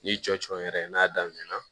N'i jɔ jɔ yɛrɛ n'a damina na